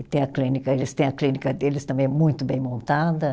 E tem a clínica, eles têm a clínica deles também muito bem montada.